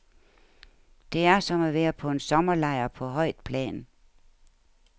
Det er som at være på en sommerlejr på højt plan.